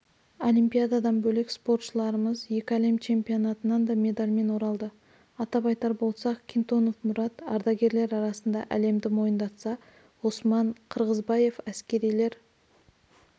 олимпиададан бөлек спортшыларымыз екі әлем чемпионатынан да медальмен оралды атап айтар болсақ кинтонов мұрат ардагерлер арасында әлемді мойындатса ғұсман қырғызбаев әскерилер